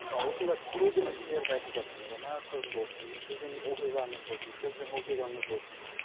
ы осында көп мәселелерді айтып жатырмыз жаңағы қыз болсын міне сіздің оқиғаңыз болсын сіздің оқиғаңыз болсын